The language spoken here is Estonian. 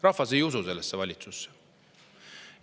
Rahvas ei usu sellesse valitsusse.